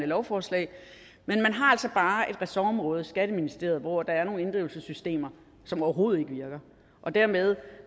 lovforslag men man har altså bare et ressortområde skatteministeriet hvor der er nogle inddrivelsessystemer som overhovedet ikke virker dermed